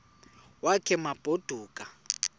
wakhe ma baoduke